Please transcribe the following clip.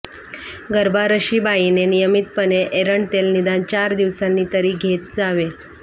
गर्भारशीबाईने नियमीतपणे एरंड तेल निदान चार दिवसांनी तरी घेत जावे